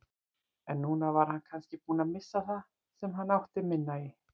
En núna var hann kannski búinn að missa það sem hann átti minna í.